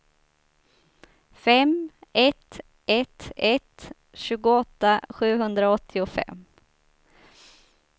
fem ett ett ett tjugoåtta sjuhundraåttiofem